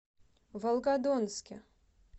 волгодонске